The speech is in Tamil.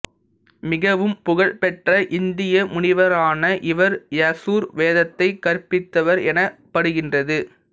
மிகவும் புகழ் பெற்ற இந்திய முனிவரான இவர் யசுர் வேதத்தைக் கற்பித்தவர் எனப்படுகின்றது